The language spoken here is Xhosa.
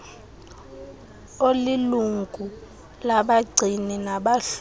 olilungu labagcini nabahloli